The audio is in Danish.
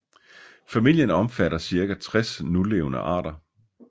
Familien omfatter cirka 60 nulevende arter